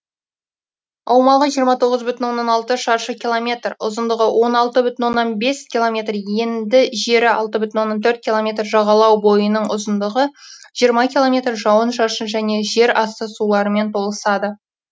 аумағы жиырма тоғыз бүтін оннан алты шаршы километр ұзындығы он алты бүтін оннан бес километр енді жері алты бүтін оннан төрт километр жағалау бойының ұзындығы жиырма километр жауын шашын және жер асты суларымен толысады